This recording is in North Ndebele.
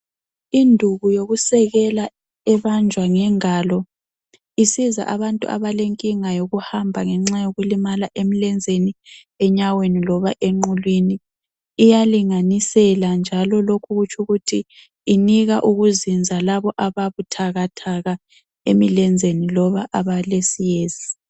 Induku yokusekela ebanjwa ngengalo isiza abantu abalenkinga yokuhamba ngenxa yokulimala emlenzeni, enyaweni loba enqulwini. Iyalinganisela njalo lokhu kutshukuthi inika ukuzinza labo ababuthakathaka emilenzeni loba abalesiyezi.